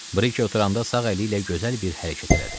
Brike oturanda sağ əli ilə gözəl bir hərəkət elədi.